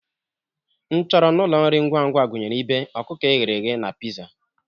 Nchọrọ n'ụlọ nri ngwa ngwa gụnyere ibe, ọkụkọ e ghere eghe na pizza.